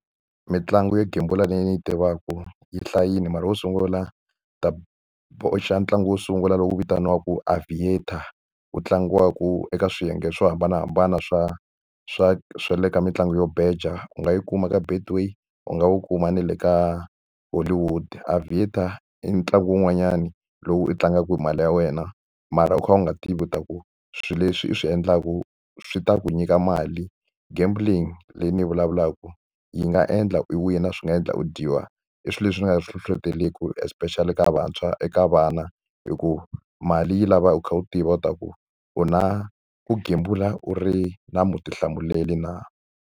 Mitlangu yo gembula leyi ni yi tivaka yi hlayile mara wo sungula, ni ta boxa ntlangu wo sungula lowu vitaniwaka Aviator wu tlangiwaka eka swiyenge swo hambanahambana swa swa swa le ka mitlangu yo beja. U nga yi kuma ka Betway u nga wu kuma ni le ka Hollywood. Aviator i ntlangu wun'wanyani lowu u tlangaku mali ya wena mara u kha u nga tivi leswaku swilo leswi i swi endlaku swi ta ku nyika mali. Gambling leyi ni yi vulavulaka yi nga endla ku u wina, swi nga endla u dyiwa. I swilo leswi ni nga swi hlohlotelaki especially ka vantshwa, eka vana, hikuva mali yi lava u kha u tiva leswaku u na ku gembula u ri na vutihlamuleri na.